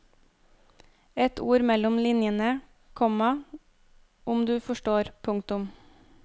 Et ord mellom linjene, komma om du forstår. punktum